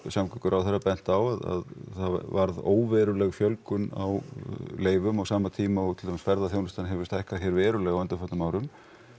samgönguráðherra bent á að það varð óveruleg fjölgun á leyfum á sama tíma og til dæmis ferðaþjónustan hefur stækkað verulega á undanförnum árum